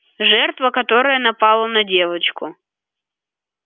жертва которая напала на девочку